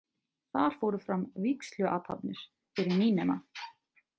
Þar fóru fram vígsluathafnir fyrir nýnema.